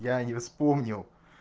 я не вспомнил